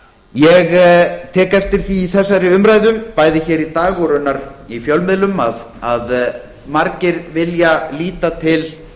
ég tek eftir því í þessari umræðu bæði hér í dag og raunar í fjölmiðlum að margir vilja líta til